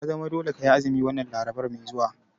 Ya zama dole kayi azumi wannan Larabar mai zuwa!